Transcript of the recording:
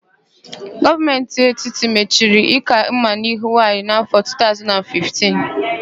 Gọọmentị etiti machiri íkà mma n'ahụ nwaanyị n'áfọ̀, 2015.